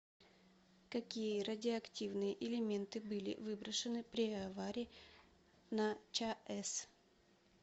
какие радиоактивные элементы были выброшены при аварии на чаэс